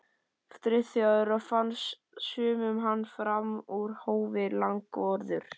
Friðþjófi og fannst sumum hann fram úr hófi langorður.